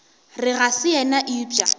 re ga se yena eupša